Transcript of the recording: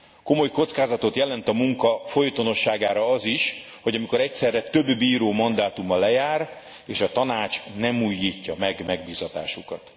Komoly kockázatot jelent a munka folytonosságára az is, amikor egyszerre több bíró mandátuma lejár és a Tanács nem újítja meg megbízatásukat.